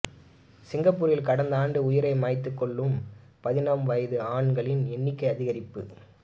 சிங்கப்பூரில் கடந்த ஆண்டு உயிரை மாய்த்துக்கொள்ளும் பதின்ம வயது ஆண்களின் எண்ணிக்கை அதிகரிப்பு